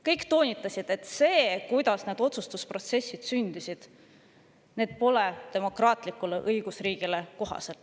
Kõik toonitasid, et see, kuidas need otsustused protsessis sündisid, pole demokraatlikule õigusriigile kohane.